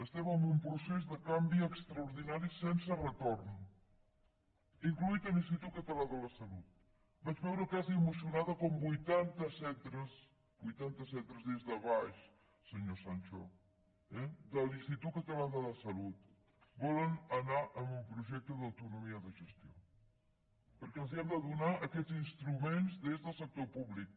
estem en un procés de canvi extraordinari sense retorn inclòs l’institut català de la salut vaig veure quasi emocionada com vuitanta centres vuitanta centres des de baix senyor sancho de l’institut català de la salut volen anar a un projecte d’autonomia de gestió perquè els hem de donar aquests instruments des del sector públic